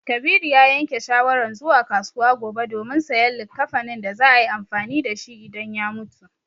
Kabiru ya yanke shawaran zuwa kasuwa gobe domin sayan likkafanin da za a yi amfani da shi idan ya mutu.